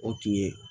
O tun ye